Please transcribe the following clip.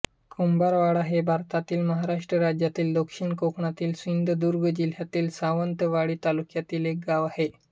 कुंभारवाडा हे भारतातील महाराष्ट्र राज्यातील दक्षिण कोकणातील सिंधुदुर्ग जिल्ह्यातील सावंतवाडी तालुक्यातील एक गाव आहे